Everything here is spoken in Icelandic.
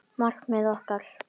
Markmið okkar?